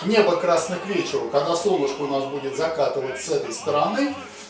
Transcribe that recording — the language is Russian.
небо красное к вечеру когда солнышко у нас будет закатываться с этой стороны